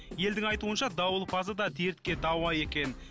елдің айтуынша дауылпазы да дертке дауа екен